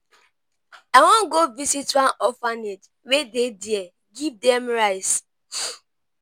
i wan go visit one orphanage wey dey there give dem rice.